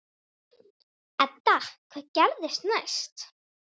Edda: Hvað gerist næst?